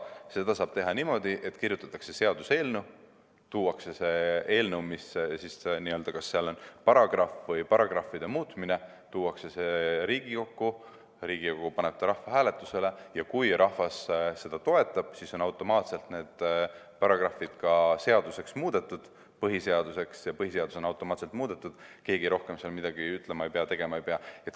Seda saab teha niimoodi, et kirjutatakse seaduseelnõu, tuuakse see eelnõu, kus on siis paragrahvi või paragrahvide muutmine, Riigikokku, Riigikogu paneb selle rahvahääletusele ja kui rahvas seda toetab, siis on automaatselt need paragrahvid ka seaduses muudetud, põhiseadus on automaatselt muudetud, keegi rohkem midagi ütlema ega tegema ei pea.